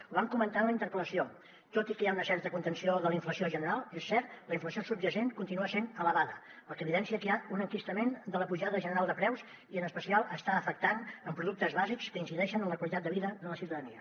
ho vam comentar en la interpel·lació tot i que hi ha una certa contenció de la inflació general és cert la inflació subjacent continua sent elevada fet que evidencia que hi ha un enquistament de la pujada general de preus i en especial està afectant productes bàsics que incideixen en la qualitat de vida de la ciutadania